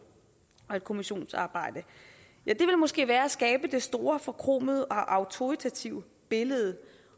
og sådan et kommissionsarbejde ja det ville måske være at skabe det store forkromede og autoritative billede